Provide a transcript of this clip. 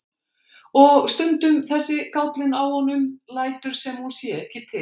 Og stundum þessi gállinn á honum, lætur sem hún sé ekki til.